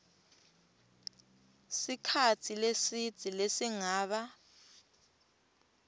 sikhatsi lesidze lesingaba